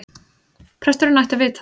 Presturinn ætti að vita það.